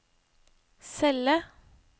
celle